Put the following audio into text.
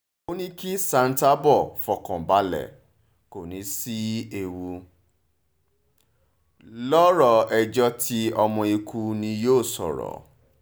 ó ní kí santerbur fọkàn balẹ̀ kó ní í sí ewu lọ̀rọ̀ ẹjọ́ tí ọmọ eku ní yóò sọ̀rọ̀